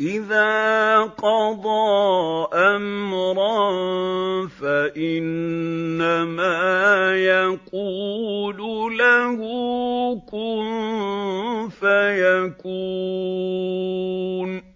إِذَا قَضَىٰ أَمْرًا فَإِنَّمَا يَقُولُ لَهُ كُن فَيَكُونُ